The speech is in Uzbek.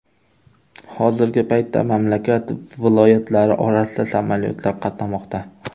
Hozirgi paytda mamlakat viloyatlari orasida samolyotlar qatnamoqda.